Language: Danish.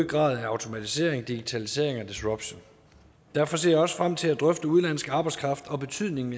grad af automatisering digitalisering og disruption derfor ser jeg også frem til at drøfte udenlandsk arbejdskraft og betydningen